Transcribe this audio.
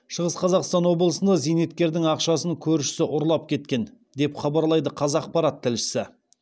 шығыс қазақстан облысында зейнеткердің ақшасын көршісі ұрлап кеткен деп хабарлайды қазақпарат тілшісі